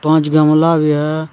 पांच गमला भी है।